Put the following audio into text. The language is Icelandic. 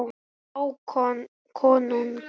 Hákon konung.